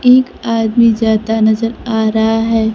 एक आदमी जाता नजर आ रहा है।